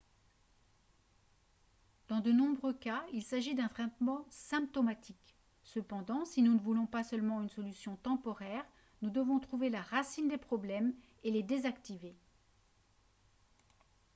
dans de nombreux cas il s'agit d'un traitement symptomatique cependant si nous ne voulons pas seulement une solution temporaire nous devons trouver la racine des problèmes et les désactiver